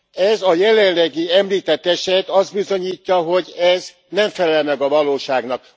Ez a jelenlegi, említett eset azt bizonyítja, hogy ez nem felel meg a valóságnak.